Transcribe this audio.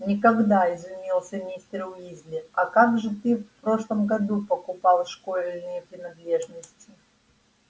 никогда изумился мистер уизли а как же ты в прошлом году покупал школьные принадлежности